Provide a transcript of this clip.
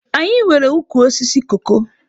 Anyị nwere ukwu osisi koko.